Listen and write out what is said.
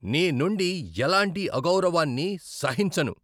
నీ నుండి ఎలాంటి అగౌరవాన్ని సహించను.